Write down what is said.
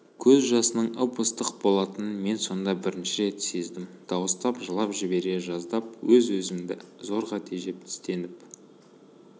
көз жасының ып-ыстық болатынын мен сонда бірінші рет сездім дауыстап жылап жібере жаздап өзімді-өзім зорға тежеп тістеніп